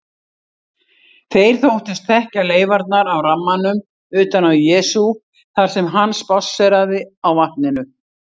Þeir þóttust þekkja leifarnar af rammanum utan af Jesú þar sem hann spásséraði á vatninu.